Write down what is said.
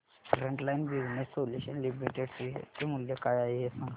frontline business solutions limited share चे मूल्य काय आहे हे सांगा